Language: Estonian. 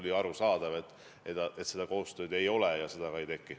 Oli arusaadav, et seda koostööd ei ole ja seda ka ei teki.